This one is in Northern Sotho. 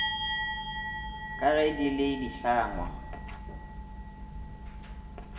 ka ge di le dihlangwa